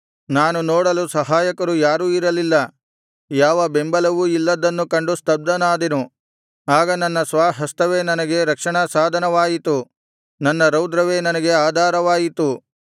ನಾನು ನೋಡಲು ಸಹಾಯಕರು ಯಾರೂ ಇರಲಿಲ್ಲ ಯಾವ ಬೆಂಬಲವೂ ಇಲ್ಲದ್ದನ್ನು ಕಂಡು ಸ್ತಬ್ಧನಾದೆನು ಆಗ ನನ್ನ ಸ್ವಹಸ್ತವೇ ನನಗೆ ರಕ್ಷಣಾಸಾಧನವಾಯಿತು ನನ್ನ ರೌದ್ರವೇ ನನಗೆ ಆಧಾರವಾಯಿತು